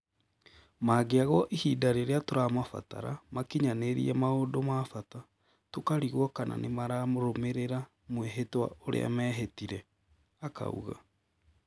"Mangĩagwo ihinda rĩrĩa tũramabatara makinyanĩrie maũndũ ma bata, tũkarigwo kana nĩmararũmĩrĩra mwĩhĩtwa ũrĩa mehĩtire,"akauga